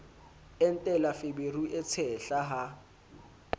entela feberu e tshehla ha